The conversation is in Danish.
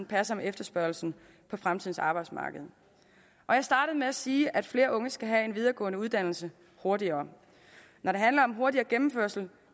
passer med efterspørgslen på fremtidens arbejdsmarked jeg startede med at sige at flere unge skal have en videregående uddannelse hurtigere når det handler om hurtigere gennemførelse